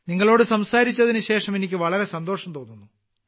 നിങ്ങളോട് സംസാരിച്ചതിനുശേഷം എനിക്ക് വളരെ സന്തോഷം തോന്നുന്നു